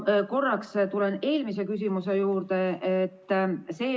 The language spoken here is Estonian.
Ma tulen korraks tagasi eelmise küsimuse juurde.